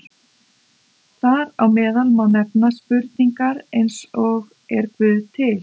Þar á meðal má nefna spurningar eins og Er Guð til?